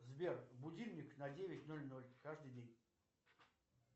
сбер будильник на девять ноль ноль каждый день